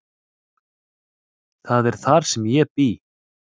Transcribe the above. Það er þar sem ég bý.